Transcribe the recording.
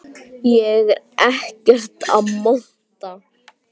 Ég er ekkert að monta.